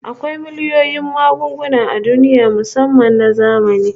Akwai miliyoyin magunguna a duniya musamman na zamani